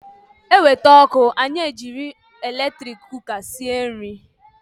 E wete ọkụ anyị e jiri eletrik kuka sie nri